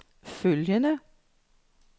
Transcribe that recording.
følgende